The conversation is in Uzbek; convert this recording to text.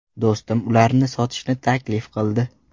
Do‘stim ularni sotishni taklif qildi.